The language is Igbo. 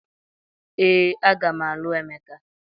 Ee, a ga m alụ Emeka.